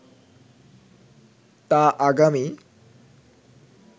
তা আগামী